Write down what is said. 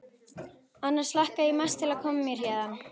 Annars hlakka ég mest til að koma mér héðan.